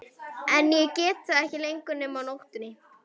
En ég get það ekki lengur nema á nóttunni.